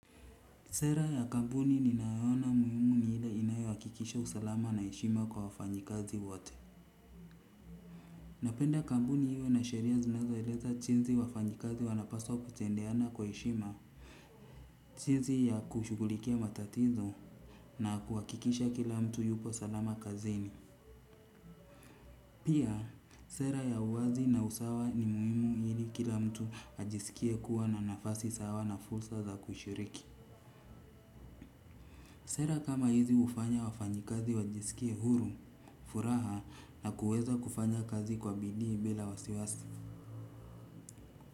Sera ya kampuni ninayoona muhimu ni ile inayoakikisha usalama na eshima kwa wafanyikazi wote. Napenda kampuni iwe na sheria zinazoeleza chinzi wafanyikazi wanapaswa kutendeana kwa eshima. Chinzi ya kushugulikia matatizo na kuhakikisha kila mtu yupo salama kazini. Pia, sera ya uwazi na usawa ni muhimu hili kila mtu ajiskie kuwa na nafasi sawa na fulsa za kushiriki. Sera kama hizi ufanya wafanyikazi wajiskie huru, furaha na kuweza kufanya kazi kwa bidii bila wasiwasi.